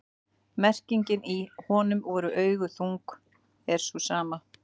merkingin í „honum voru augu þung“ er sú sama